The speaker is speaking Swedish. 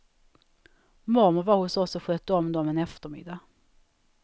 Mormor var hos oss och skötte om dom en eftermiddag.